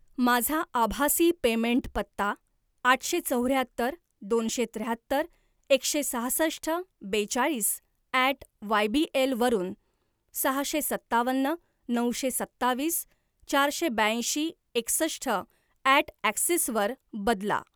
माझा आभासी पेमेंट पत्ता आठशे चौऱ्याहत्तर दोनशे त्र्याहत्तर एकशे सहासष्ट बेचाळीस ॲट वायबीएल वरून सहाशे सत्तावन्न नऊशे सत्तावीस चारशे ब्याऐंशी एकसष्ट ॲट ॲक्सिस वर बदला